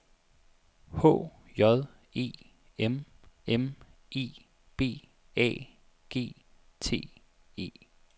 H J E M M E B A G T E